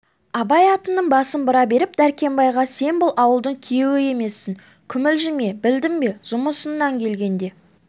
абай атының басын бұра беріп дәркембайға сен бұл ауылдың күйеуі емессің күмілжіме білдің бе жұмысыңнан келгенде